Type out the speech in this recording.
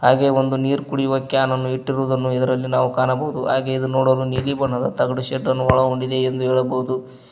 ಹಾಗೆ ಒಂದು ನೀರ್ ಕುಡಿಯುವ ಕ್ಯಾನ್ ಅನ್ನು ಇಟ್ಟಿರುವುದನ್ನು ಇದರಲ್ಲಿ ನಾವು ಕಾಣಬಹುದು ಹಾಗೆ ಇದು ನೋಡಲು ನೀಲಿ ಬಣ್ಣದ ತಗಡು ಶೆಡ್ ಅನ್ನು ಒಳಗೊಂಡಿದೆ ಎಂದು ಹೇಳಬೌದು.